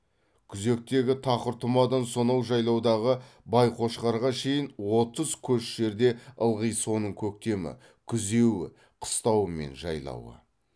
күзектегі тақыртұмадан сонау жайлаудағы байқошқарға шейін отыз көш жерде ылғи соның көктемі күзеуі қыстауы мен жайлауы